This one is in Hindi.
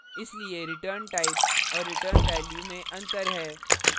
इसलिए return type return प्रकार और return value return value में अंतर है